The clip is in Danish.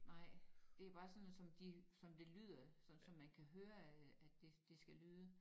Nej det bare sådan noget som de som det lyder sådan som man kan høre at at det skal lyde